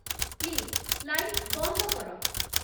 please light ବନ୍ଦ କର